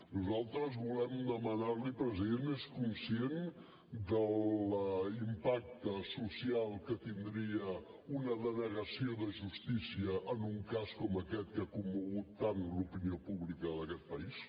nosaltres volem demanarli president és conscient de l’impacte social que tindria una denegació de justícia en un cas com aquest que ha commogut tant l’opinió pública d’aquest país